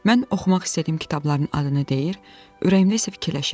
Mən oxumaq istədiyim kitabların adını deyir, ürəyimdə isə fikirləşirdim: